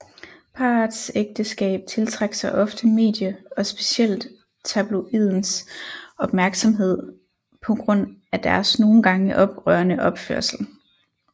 Parets ægteskab tiltrak sig ofte medie og specielt tabloidens opmærksomhed på grund af deres nogen gange oprørende opførsel